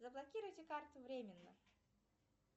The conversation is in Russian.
заблокируйте карту временно